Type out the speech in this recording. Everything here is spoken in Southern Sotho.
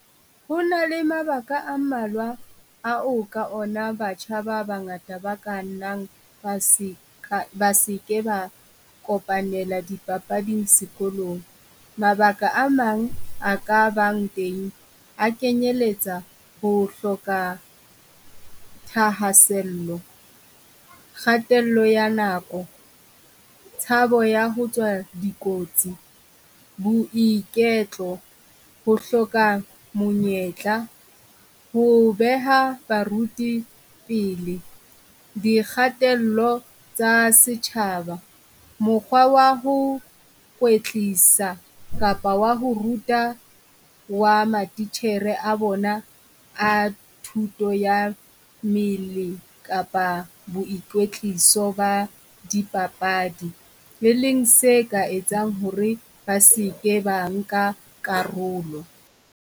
Ho na le mabaka a mmalwa a o ka ona batjha ba bangata ba ka nnang ba se ka, ba se ke ba kopanela di papading sekolong. Mabaka a mang a ka bang teng a kenyeletsa ho hloka thahasello, kgatello ya nako, tshabo ya ho tswa dikotsi, boiketlo, ho hloka monyetla, ho beha baruti pele, di kgatello tsa setjhaba. Mokgwa wa ho kwetlisa kapa wa ho ruta wa matitjhere a bona a thuto ya mmele kapa boikwetliso ba dipapadi. E leng se ka etsang ho re ba se ke ba nka karolo.